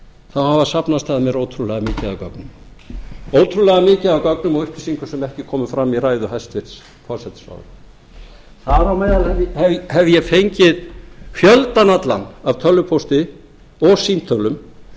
þá hafa safnast að mér ótrúlega mikið af gögnum ótrúlega mikið af gögnum og upplýsingum sem ekki komu fram í ræðu hæstvirts forsætisráðherra þar á meðal hef ég fengið fjöldann allan af tölvupósti og símtölum